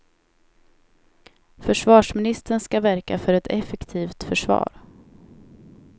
Försvarsministern ska verka för ett effektivt försvar.